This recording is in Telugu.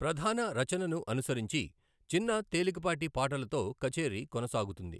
ప్రధాన రచనను అనుసరించి, చిన్న, తేలికపాటి పాటలతో కచేరీ కొనసాగుతుంది.